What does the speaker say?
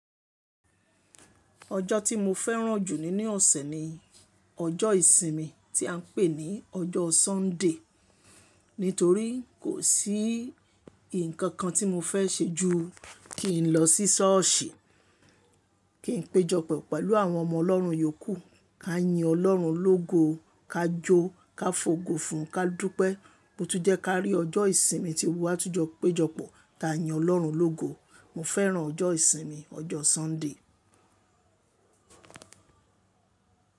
Ọjọ ti mo féràn jù nínú ọsẹ ni ọjọ ìsin mi ti a n pè ní ọjọ Sunday. Nítorí kò sí nkankan ti mo fẹ ṣe ju kin lọ sí ṣọ́ọ̀ṣì, kin pejọpọ pẹlu àwọn ọmọ ọlọrun yòókù, ká yín ọlọ́run lógo, ká jó, ká fògo fún, ká dúpẹ́ po tu jẹ kárí ọjọ́ ìsin mi ti gbogbo wa tún jọ pejọ pọ̀ tá yín ọlọ́run lógo. Mo féràn ọjọ́ ìsinmi, ọjọ́ Sunday.